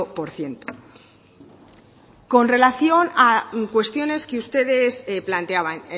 por ciento con relación a cuestiones que ustedes planteaban